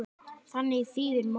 Þannig þýðir Móses fæddur.